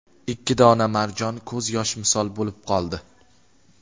Ikki dona marjon ko‘z yosh misol bo‘lib qoldi.